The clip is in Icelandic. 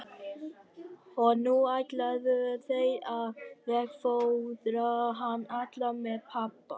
Og nú ætluðu þeir að veggfóðra hann allan með pappa.